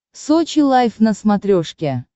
сочи лайв на смотрешке